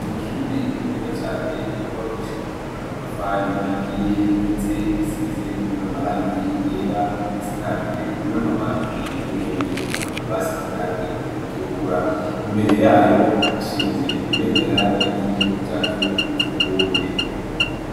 Amashuri meza cane yubakishijwe amatafari ahiye ndetse asize n'amarangi yera asakajwe n'amabati harimwo n'ivyuma basize irangi ritukura. Imbere yayo hashinze ibendera ry'igihugu cacu c'uburundi.